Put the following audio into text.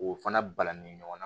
K'o fana balani ɲɔgɔn na